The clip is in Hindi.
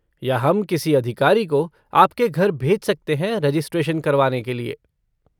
या हम किसी अधिकारी को आपके घर भेज सकते हैं रेजिस्ट्रेशन करवाने के लिए।